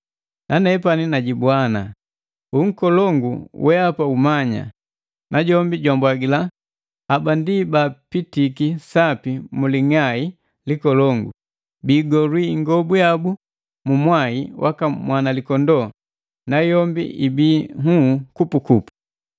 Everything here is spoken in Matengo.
Nanepani najibwa ana, “Unkolongu, weapa umanya!” Najombi jwambwagila, “Haba ndi baapitiki sapi mu ling'ai likolongu. Biigolwi ingobu yabu Mu mwai waka Mwanalikondoo, nayombi ibii nhuu kupukupu.